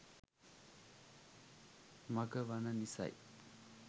මග වන නිසයි.